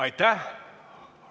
Aitäh!